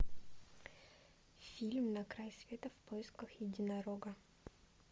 фильм на край света в поисках единорога